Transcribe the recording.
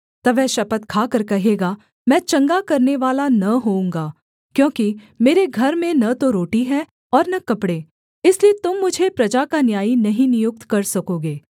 तब वह शपथ खाकर कहेगा मैं चंगा करनेवाला न होऊँगा क्योंकि मेरे घर में न तो रोटी है और न कपड़े इसलिए तुम मुझे प्रजा का न्यायी नहीं नियुक्त कर सकोगे